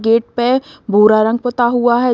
Gate पे भूरा रंग पोता हुआ है।